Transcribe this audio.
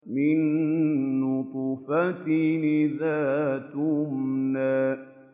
مِن نُّطْفَةٍ إِذَا تُمْنَىٰ